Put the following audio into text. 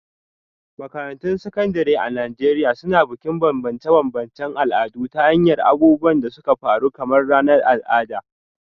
Makarantun Sakandare a Najeriya Suna Bukin bambance-bambancen al'adu ta hanyar abubuwan da suka faru kamar ranar al'ada.